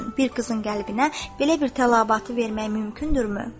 Bir qızın qəlbinə belə bir tələbatı vermək mümkündürmü?